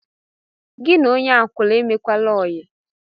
Gị na onye akwụna emekwala óyi